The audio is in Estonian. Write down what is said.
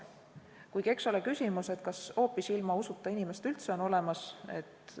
Kuigi eks ole küsimus, kas hoopis ilma usuta inimest üldse on olemas.